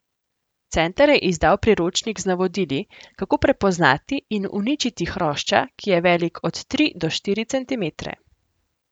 Center je izdal priročnik z navodili, kako prepoznati in uničiti hrošča, ki je velik od tri do štiri centimetre.